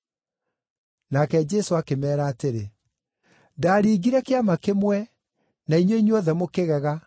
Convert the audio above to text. Nake Jesũ akĩmeera atĩrĩ, “Ndaaringire kĩama kĩmwe, na inyuĩ inyuothe mũkĩgega.